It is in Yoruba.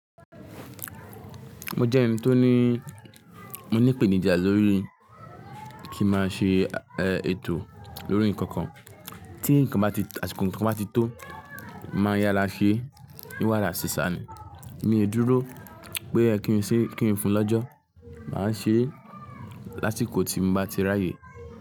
Mo jẹ́ ẹni tó ní, mo ní ìpèníjà lórí kí n máa ṣe ètò lórí ǹkankan. Tí ǹkan bá ti, àsìkò ǹkan bá ti tó, máa yára ṣe, ni wara n sesa ni. Mi ò n dúró pé ó yẹ kí n ṣe, kí n fún lọ́jọ́. Màá ṣe lásìkò tí n bá ti r'aáyè.